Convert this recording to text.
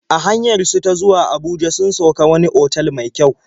A hanyar su ta zuwa Abuja sun sauk a wani otal mai kyau.